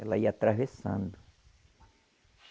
Ela ia atravessando.